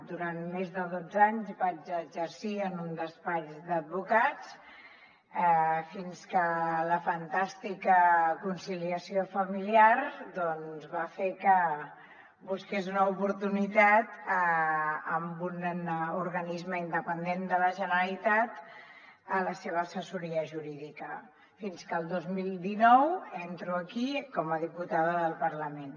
durant més de dotze anys vaig exercir en un despatx d’advocats fins que la fantàstica conciliació familiar doncs va fer que busqués una oportunitat en un organisme independent de la generalitat en la seva assessoria jurídica fins que el dos mil dinou entro aquí com a diputada del parlament